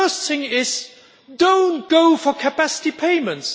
The first thing is, do not go for capacity payments.